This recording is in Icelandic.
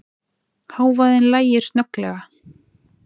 Hávaðann lægir snögglega.